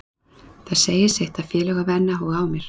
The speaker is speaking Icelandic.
Það segir sitt að félög hafa enn áhuga á mér.